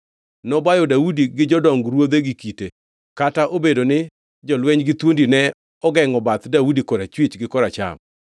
Nobayo Daudi gi jodong ruoth gi kite, kata obedo ni jolweny gi thuondi ne ogengʼo bath Daudi korachwich gi koracham.